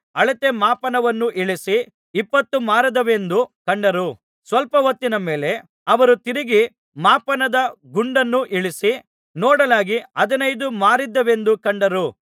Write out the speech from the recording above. ಅಳತೆ ಮಾಪನವನ್ನು ಇಳಿಸಿ ಇಪ್ಪತ್ತು ಮಾರುದ್ದವೆಂದು ಕಂಡರು ಸ್ವಲ್ಪ ಹೊತ್ತಿನ ಮೇಲೆ ಅವರು ತಿರುಗಿ ಮಾಪನದ ಗುಂಡನ್ನು ಇಳಿಸಿ ನೋಡಲಾಗಿ ಹದಿನೈದು ಮಾರುದ್ದವೆಂದು ಕಂಡರು